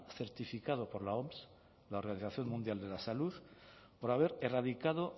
certificado por la oms la organización mundial de la salud por haber erradicado